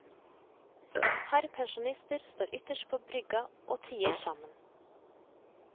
Et par pensjonister står ytterst på brygga og tier sammen.